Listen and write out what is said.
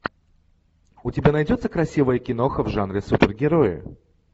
у тебя найдется красивая киноха в жанре супергерои